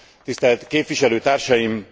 Tisztelt képviselőtársaim!